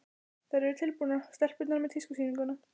Þær eru tilbúnar, stelpurnar, með tískusýninguna.